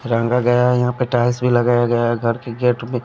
रंगा गया है यहां पे टाइल्स भी लगाया गया है घर की गेट पे।